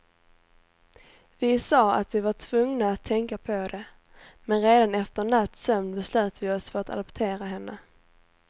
Vi sa att vi var tvungna att tänka på det, men redan efter en natts sömn beslöt vi oss för att adoptera henne.